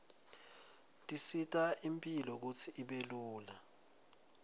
tisita imphilo kutsi ibe lula